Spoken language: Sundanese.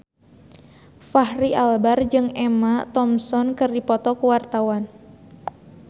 Fachri Albar jeung Emma Thompson keur dipoto ku wartawan